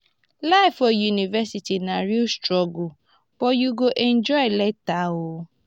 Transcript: life for university na real struggle but you go enjoy later oo.